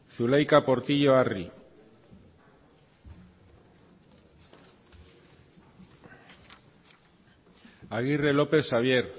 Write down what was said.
zulaika portillo arri agirre lópez xabier